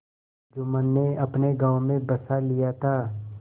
जुम्मन ने अपने गाँव में बसा लिया था